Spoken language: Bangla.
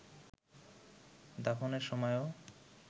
দাফনের সময়েও